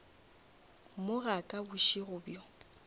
mo ga ka bošego bjo